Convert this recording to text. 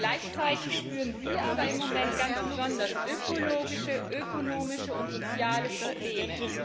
Gleichzeitig spüren sie aber im Moment ganz besonders ökologische, ökonomische und soziale Probleme.